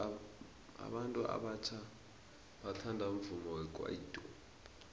abantu abatjha bathanda umvumo wekwaito